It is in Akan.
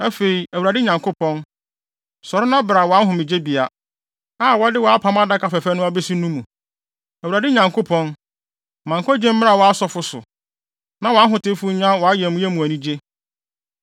“Afei, Awurade Nyankopɔn, sɔre na bra wʼahomegyebea, a wɔde wʼapam Adaka fɛfɛ no abesi no mu. “ Awurade Nyankopɔn, ma nkwagye mmra wʼasɔfo so, na wʼahotefo nya wʼayamye mu anigye.